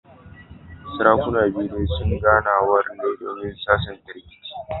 Sarakunan biyu dai suna ganawar ne domin sasanta rikicin